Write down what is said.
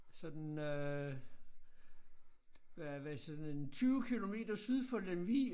Sådan øh hvad hvad sådan en 20 kilometer syd for Lemvig